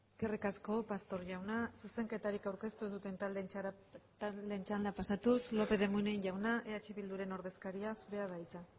eskerrik asko pastor jauna zuzenketarik aurkeztu ez duten taldeen txandara pasatuz lópez de munain jauna eh bilduren ordezkaria zurea da hitza